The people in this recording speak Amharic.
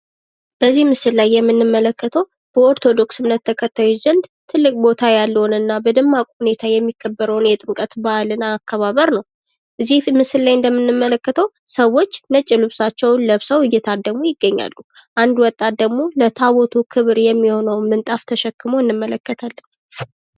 በዚህ ምስል ላይ የምንመለከተው በኦርቶዶክስ እምነት ተከታዮች ዘንድ ትልቅ ቦታ ያለውንና በደማቁ ሁኔታ የሚከበረውን የጥምቀት በአል አከባበር ነው እዚህ ምስል ላይ እንደምንመለከተው ሰዎች ነጭ ልብሳቸውን ለብሰው እየታደሙ ይገኛሉ አንድ ወጣት ደግሞ ለታቦቱ ክብር የሚሆነውን ምንጣፍ ተሸክሞ እንመለከታለን።